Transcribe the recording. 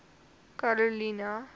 karolina